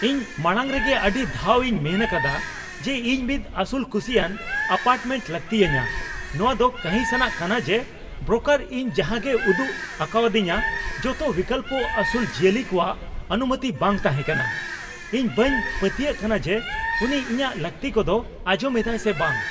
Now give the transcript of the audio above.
ᱤᱧ ᱢᱟᱲᱟᱝ ᱨᱮᱜᱮ ᱟᱹᱰᱤ ᱫᱷᱟᱣ ᱤᱧ ᱢᱮᱱ ᱟᱠᱟᱫᱟ ᱡᱮ ᱤᱧ ᱢᱤᱫ ᱟᱹᱥᱩᱞᱼᱠᱩᱥᱤᱭᱟᱱ ᱟᱯᱟᱨᱴᱢᱮᱱᱴ ᱞᱟᱹᱠᱛᱤ ᱟᱹᱧᱟᱹ ᱾ ᱱᱚᱶᱟ ᱫᱚ ᱠᱟᱺᱦᱤᱥᱼᱟᱱᱟᱜ ᱠᱟᱱᱟ ᱡᱮ ᱵᱨᱳᱠᱟᱨ ᱤᱧ ᱡᱟᱦᱟᱸᱜᱮᱭ ᱩᱫᱩᱜ ᱟᱠᱟᱣᱫᱤᱧᱟᱹ ᱡᱚᱛᱚ ᱵᱤᱠᱚᱞᱯᱚ ᱟᱹᱥᱩᱞ ᱡᱤᱭᱟᱹᱞᱤ ᱠᱚᱣᱟᱜ ᱚᱱᱩᱢᱚᱛᱤ ᱵᱟᱝ ᱛᱟᱦᱮᱸᱠᱟᱱᱟ ᱾ ᱤᱧ ᱵᱟᱹᱧ ᱯᱟᱹᱛᱭᱟᱹᱜ ᱠᱟᱱᱟ ᱡᱮ ᱩᱱᱤ ᱤᱧᱟᱹᱠ ᱞᱟᱹᱠᱛᱤ ᱠᱚᱫᱚ ᱟᱸᱡᱚᱢ ᱮᱫᱟᱭ ᱥᱮ ᱵᱟᱝ ᱾